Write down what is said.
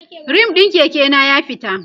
rim ɗin Keke na ya fita